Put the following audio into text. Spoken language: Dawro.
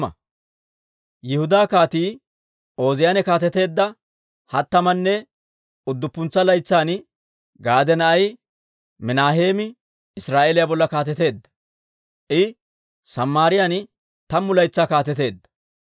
Yihudaa Kaatii Ooziyaane kaateteedda hattamanne udduppuntsa laytsan, Gaade na'ay Minaaheemi Israa'eeliyaa bolla kaateteedda; I Samaariyaan tammu laytsaa kaateteedda.